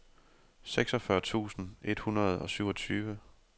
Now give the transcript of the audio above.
seksogfyrre tusind et hundrede og syvogtyve